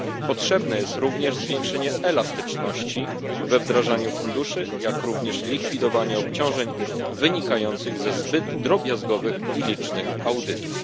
Konieczne jest również zwiększenie elastyczności we wdrażaniu funduszy, jak również likwidowanie obciążeń wynikających ze zbyt drobiazgowych i licznych audytów.